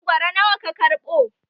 Mangoro nawa ka kaɓo?